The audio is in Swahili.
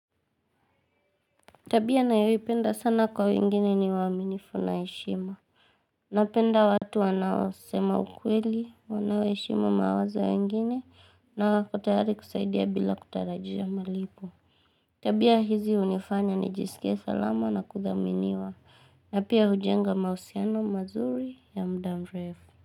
Tabia nayoipenda sana kwa wengine ni uaminifu na heshima. Napenda watu wanaosema ukweli, wanaoheshimu mawazo ya wengine na wako tayari kusaidia bila kutarajia malipo. Tabia hizi hunifanya nijisikie salama na kuthaminiwa na pia hujenga mahusiano mazuri ya muda mrefu.